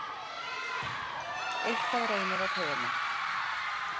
Eitthvað reynir á taugarnar